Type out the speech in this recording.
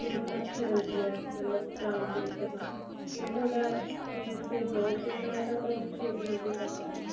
ਮਤਲਬ ਅੱਛੀ ਲੱਗਦੀ ਏ ਮਤਲਬ round face ਤੇ ਤਾਂ ਜੇ ਤੁਹਾਡਾ face ਕੋਈ ਹੋਰ shape ਦਾ ਹੋਇਆ ਤਾਂ ਤਾਂ ਉਸ shape ਨਾਲ ਵੀ ਕਰ ਸਕਦੇ ਓ